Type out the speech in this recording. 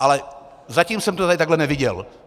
Ale zatím jsem to tady takhle neviděl.